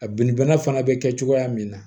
A binni bana fana bɛ kɛ cogoya min na